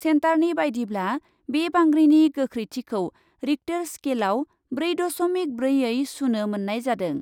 सेन्टारनि बायदिब्ला, बे बांग्रिनि गोखैथिखौ रिक्टर स्केलाव ब्रै दस'मिक ब्रैयै सुनो मोन्नाय जादों।